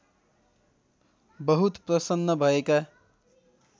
बहुत प्रसन्न भएका